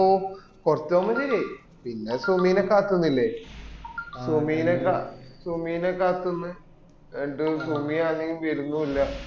ഓ കൊറച് ആവുമ്പോൾ ശെരിയായി പിന്ന സുമിന കാത്തുന്നില്ലേ സുമിന കത്തുന്നു സുമിയാണെ വരുന്നുല്ല